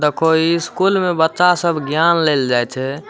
दखो इस स्कूल में बच्चा सब ज्ञान लेल जाइ छै।